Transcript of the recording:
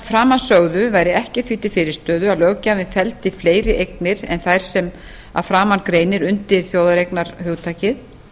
framansögðu væri ekkert því til fyrirstöðu að löggjafinn felldi fleiri eignir en þær sem að framan greinir undir þjóðareignarhugtakið